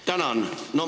Tänan!